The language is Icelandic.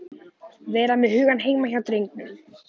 Vera með hugann heima hjá drengnum.